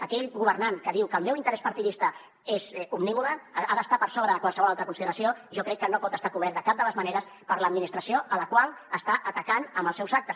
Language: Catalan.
aquell governant que diu que el meu interès partidista és omnímode ha d’estar per sobre de qualsevol altra consideració jo crec que no pot estar cobert de cap de les maneres per l’administració a la qual està atacant amb els seus actes